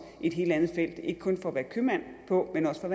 et helt andet felt ikke kun at være købmand på men også for